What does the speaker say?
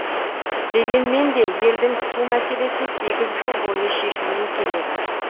дегенмен де елдің су мәселесі сегіз жыл бойы шешілмей келеді